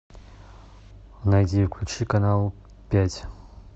найди и включи канал пять